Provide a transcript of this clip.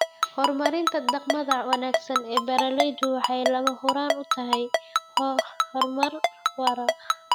Horumarinta dhaqamada wanaagsan ee beeralaydu waxay lama huraan u tahay horumar waara.